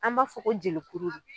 An b'a fɔ ko jelikuru de